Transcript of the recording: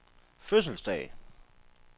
fødselsdag